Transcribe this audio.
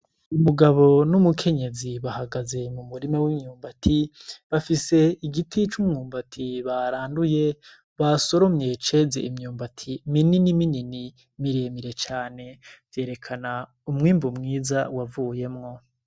Umugabo n'umukenyezi bahagaze mu murima w'imyumbati bafise igiti c'umwumbati baranduye basoromye ceze imyumbati minini minini miremire cane vyerekana umwimbu mwiza wavuyemwo.